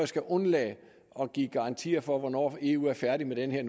skal undlade at give garantier for hvornår eu er færdig med den her